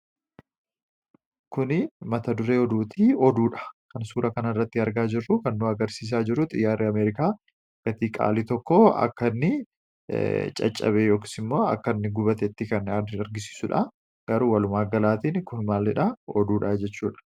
kuni mata duree oduuti oduudha kan suura kan irratti argaa jiru kannoo agarsiisaa jiruu xiyyaarri ameerikaa gatiiqaalii tokko akka inni caccabe yooksi immoo akkainni gubatetti kan adi argisiisuudha garuu walumaa ggalaatiin kun maallidha oduudhaajechuudha